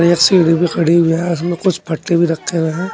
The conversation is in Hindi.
ये सीढ़ी भी खड़ी हुई है मे कुछ फट्टे भी रखे हुए हैं।